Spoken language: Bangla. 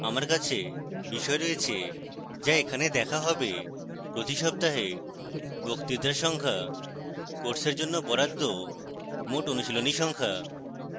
আমার আছে